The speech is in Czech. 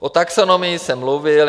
O taxonomii jsem mluvil.